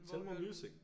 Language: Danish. Telmore music